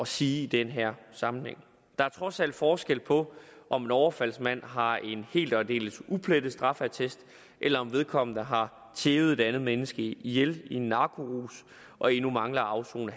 sige i den her sammenhæng der er trods alt forskel på om en overfaldsmand har en helt og aldeles uplettet straffeattest eller om vedkommende har tævet et andet menneske ihjel i en narkorus og endnu mangler at afsone